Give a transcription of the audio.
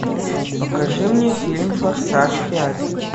покажи мне фильм форсаж пять